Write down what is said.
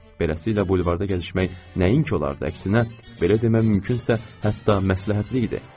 Beləsilə bulvarda gəzişmək nəinki olardı, əksinə, belə demək mümkünsə, hətta məsləhətli idi.